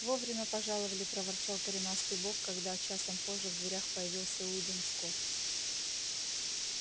вовремя пожаловали проворчал коренастый бог когда часом позже в дверях появился уидон скотт